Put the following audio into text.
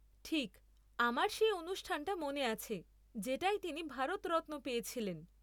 ঠিক, আমার সেই অনুষ্ঠানটা মনে আছে যেটায় তিনি ভারতরত্ন পেয়েছিলেন।